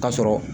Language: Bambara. K'a sɔrɔ